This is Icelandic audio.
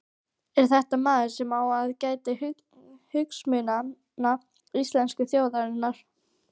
Er þetta maður sem á að gæta hagsmuna íslensku þjóðarinnar?